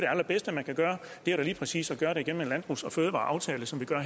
allerbedste man kan gøre er da lige præcis at gøre det gennem en landbrugs og fødevareaftale som vi gør